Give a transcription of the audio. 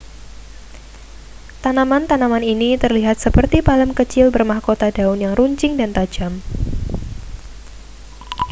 tanaman-tanaman ini terlihat seperti palem kecil bermahkota daun yang runcing dan tajam